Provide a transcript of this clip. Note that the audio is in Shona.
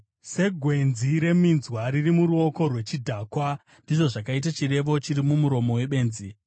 Segwenzi reminzwa riri muruoko rwechidhakwa, ndizvo zvakaita chirevo chiri mumuromo webenzi.